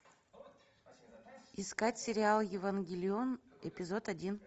искать сериал евангелион эпизод один